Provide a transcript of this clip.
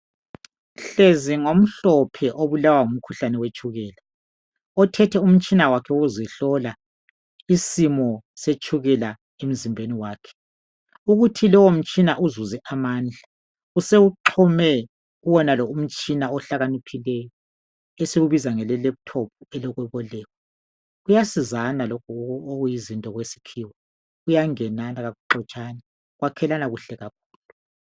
Hlezi ngomhlophe obulawa ngumkhuhlane wetshukela othethe umtshina wakhe wokuzihlola isimo setshukela emzimbeni wakhe. Ukuthi lowo mtshina uzuze amandla usewuxhume kuwonalo umtshina ohlakaniphileyo esiwubiza ngelaptop elokubokwa kuyasizana lokhu okuyizinto kwesikhiwa kuyangenana akuxotshane kwakhelana kuhle kakhulu.